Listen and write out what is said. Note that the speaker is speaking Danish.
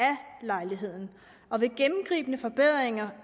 lejligheden og ved gennemgribende forbedringer